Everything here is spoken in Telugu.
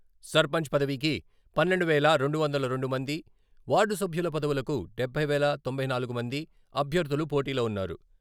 సర్పంచ్ పదవీకి పన్నెండు వేల రెండు వందల రెండు మంది, వార్డు సభ్యుల పదవులకు డబ్బై వేల తొంభై నాలుగు మంది అభ్యర్థులు పోటీలో ఉన్నారు.